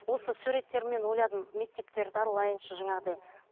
осы суреттермен ойладым мектептерді аралайыншы жаңағыдай